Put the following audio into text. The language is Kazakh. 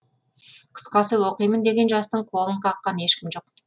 қысқасы оқимын деген жастың қолын қаққан ешкім жоқ